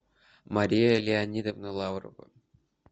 мария леонидовна лаврова